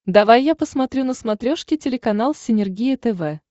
давай я посмотрю на смотрешке телеканал синергия тв